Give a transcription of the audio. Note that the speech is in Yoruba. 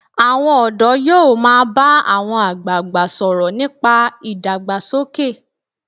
Àwọn ọ̀dọ́ yóò máa bá àwọn àgbagbà sọ̀rọ̀ nípa ìdàgbàsókè.